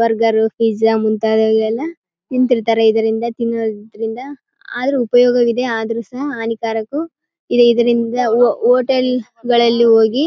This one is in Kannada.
ಬರ್ಗರ್ ಫಿಝ್ಝ ಮುಂತಾದವೆಲ್ಲ ತಿಂತಾ ಇರ್ತಾರೆ ಇದರಿಂದ ತಿನ್ನೋದ್ರಿಂದ ಆದ್ರೂ ಉಪಯೋಗ ಇದೆ ಆದ್ರೂ ಹಾನಿಕಾರಕ ಇದೆ ಇದರಿಂದ ಹೋಟೆಲ್ಗಳಲ್ಲಿ ಹೋಗಿ --